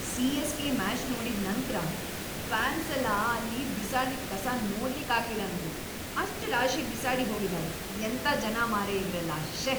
CSK. Match ನೋಡಿದ್ ನಂತ್ರ ಫ್ಯಾನ್ಸೆಲ್ಲ ಅಲ್ಲಿ ಬಿಸಾಡಿದ್‌ ಕಸ ನೋಡ್ಲಿಕ್ಕಾಗ್ಲಿಲ್ಲ ನಂಗೆ, ಅಷ್ಟ್‌ ರಾಶಿ ಬಿಸಾಡಿ ಹೋಗಿದಾರೆ, ಎಂತ ಜನ ಮಾರ್ರೆ ಇವ್ರೆಲ್ಲ.. ಶ್ಯೇ..!